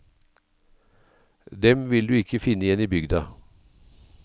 Dem vil du ikke finne igjen i bygda.